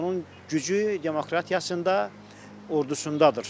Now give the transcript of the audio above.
Onun gücü demokratiyasında, ordusundadır.